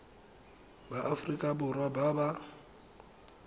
ba aforika borwa ba ba